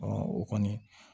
o kɔni